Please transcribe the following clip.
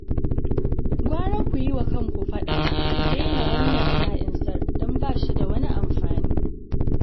Gwara ku yi wa kanku fada ku daina wannan sa'insar, don ba shi da wani amfani